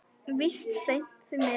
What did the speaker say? Víst seint, því miður.